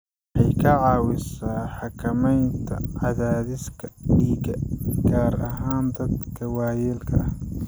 Waxay ka caawisaa xakamaynta cadaadiska dhiigga, gaar ahaan dadka waayeelka ah.